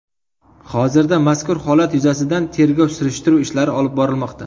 Hozirda mazkur holat yuzasidan tergov-surishtiruv ishlari olib borilmoqda.